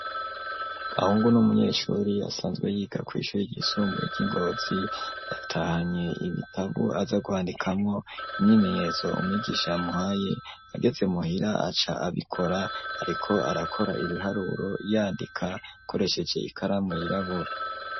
Gahungu n’umunyeshuri, asanzwe yiga kw'ishuri ryisumbuye ry'i Ngozi; yatahanye ibitabo aza kwandikamwo imyimenyezo umwigisha yamuhaye, ageze muhira aca abikora, ariko arakora ibiharuro, yandika akoresheje ikaramu yirabura.